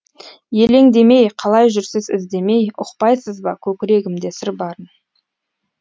елеңдемей қалай жүрсіз іздемей ұқпайсыз ба көкірегімде сыр барын